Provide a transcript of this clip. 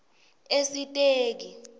esiteki